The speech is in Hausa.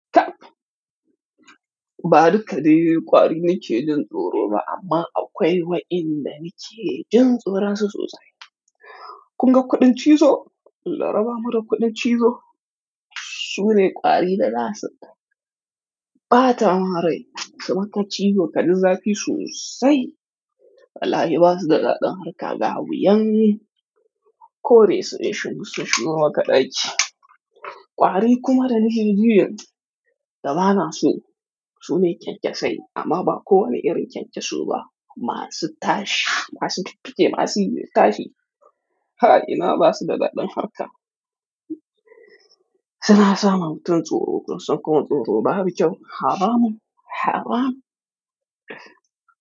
Tab. Ba duka ka dai ƙwari ni ke jin tsoro ba, amma akwai wa'yanda nike jin tsoronsu sosai. Kun ga kuɗin cizo? Laraba mara kuɗin cizo. Su ne ƙwari da za su ɓata munrai su maka cizo kaji zafi sosai. Wallahi ba su da daɗin harka, ga wuyan. Ko dai su dai shubu su shigo ma ka ɗaki. Ƙwari kuma da nijinjiyan da ba na su, su ne kyankyasai amma ba kowane irin kyankyaso ba. Ma su tashi, masu fifike, masu yin tashi. Halima ba su da daɗin harka. Suna samar wa mutum tsoro, kusan kamar tsoro babu kyau. Haramun, haramu.